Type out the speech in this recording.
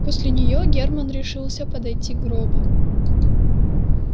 после неё германн решился подойти к гробу